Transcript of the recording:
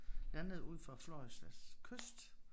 Landede ud for Floridas kyst